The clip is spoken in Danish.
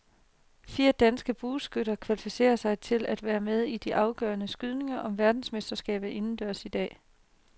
Fire danske bueskytter kvalificerede sig til at være med i de afgørende skydninger om verdensmesterskaberne indendørs i dag.